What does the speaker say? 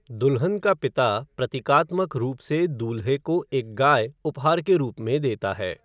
दुल्हन का पिता प्रतीकात्मक रूप से दूल्हे को एक गाय उपहार के रूप में देता है।